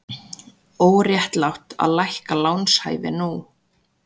Óréttlátt að lækka lánshæfi nú